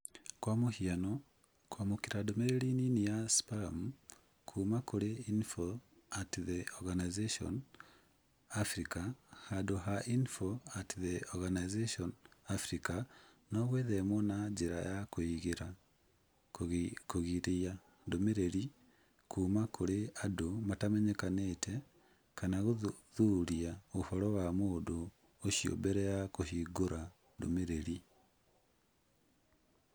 kwa mũhiano, kwamũkĩra ndũmĩrĩri nini ya spamu kuuma kũrĩ info@the organization. afrika handũ ha info@the organization. africa no gwĩthemwo na njĩra ya kũgiria ndũmĩrĩri kuuma kũrĩ andũ matamenyekete kana gũthuthuria ũhoro wa mũndũ ũcio mbere ya kũhingũra ndũmĩrĩri.